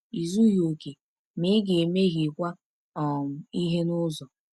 I zughị okè, ma ị ga-emehiekwa um ihe n’ụzọ.